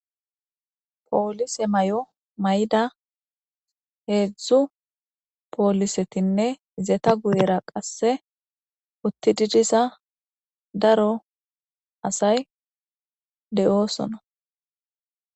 Poolise may7o may7da heedzdzu poolisetinne zeta guyera qasse utti didisa daro asay de7oosona.